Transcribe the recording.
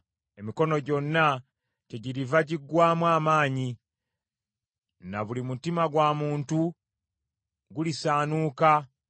Emikono gyonna kyegiriva giggwaamu amaanyi, na buli mutima gwa muntu gulisaanuuka;